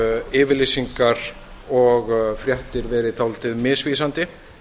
yfirlýsingar og fréttir verið dálítið misvísandi